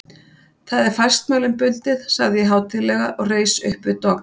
Það er fastmælum bundið, sagði ég hátíðlega og reis uppvið dogg.